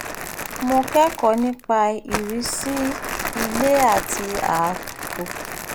mo kẹ́kọ̀ọ́ nípa ìrísí ilé àti ààtò